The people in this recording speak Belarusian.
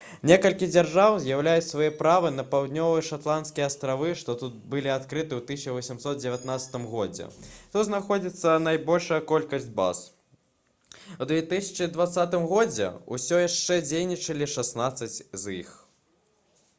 некалькі дзяржаў заяўляюць свае правы на паўднёвыя шэтландскія астравы што былі адкрыты ў 1819 годзе тут знаходзіцца найбольшая колькасць баз у 2020 годзе ўсё яшчэ дзейнічалі шаснаццаць з іх